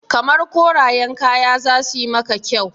Kamar korayen kaya zasu yi maka kyau